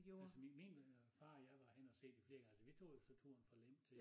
Altså min min øh far og jeg var henne og se det flere gange vi tog jo så turen fra Lem til